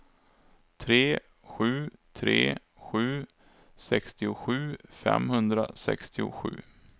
tre sju tre sju sextiosju femhundrasextiosju